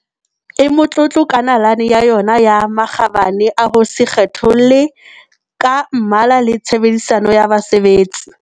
e motlotlo ka nalane ya yona ya makgabane a ho se kgetholle ka mmala le tshe bedisano ya basebetsi.